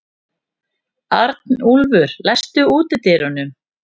Arnúlfur, læstu útidyrunum.